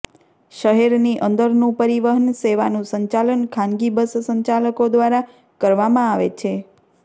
શહેરની અંદરનું પરિવહન સેવાનું સંચાલન ખાનગી બસ સંચાલકો દ્વારા કરવામાં આવે છે